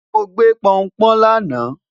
mọ gbé p'oun p'oun lana